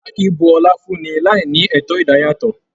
A kìí bú ọlá fún ní láí ní ẹtọ idayatọ.